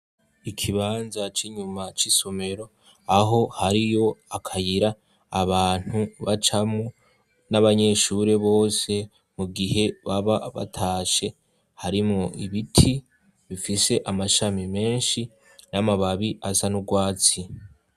Ikibanza c'inyuma c'isomero aho hariyo akayira abantu bacamwo n'abanyeshure bose mu gihe baba batashe harimwo ibiti bifise amashami menshi n'amababi asa n'urwatsi.